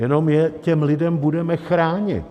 Jenom je těm lidem budeme chránit.